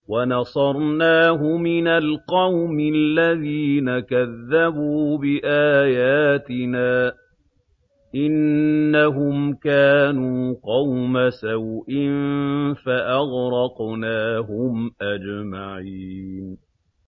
وَنَصَرْنَاهُ مِنَ الْقَوْمِ الَّذِينَ كَذَّبُوا بِآيَاتِنَا ۚ إِنَّهُمْ كَانُوا قَوْمَ سَوْءٍ فَأَغْرَقْنَاهُمْ أَجْمَعِينَ